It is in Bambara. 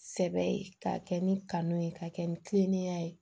Sɛbɛ ye k'a kɛ ni kanu ye k'a kɛ ni kiliniya ye